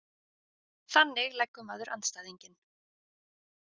Þannig leggur maður andstæðinginn.